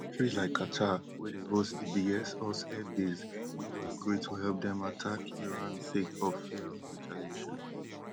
Countries like qatar wey dey hosts di biggest us airbase no go agree to help dem attack iran sake of fear of retaliation